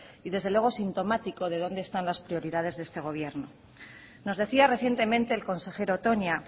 y desde luego sintomático de dónde están las prioridades de este gobierno nos decía recientemente el consejero toña